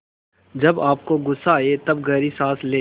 जब आपको गुस्सा आए तब गहरी सांस लें